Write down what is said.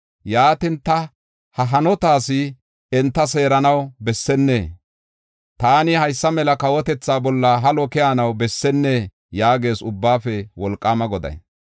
Yaatin, ta ha hanotaas enta seeranaw bessennee? Taani haysa mela kawotethaa bolla halo keyanaw bessennee?” yaagees Ubbaafe Wolqaama Goday.